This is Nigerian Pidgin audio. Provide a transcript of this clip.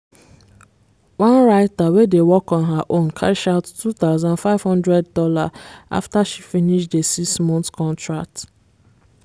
one writter wey dey work on her own cash out $2500 after she finish the six month contract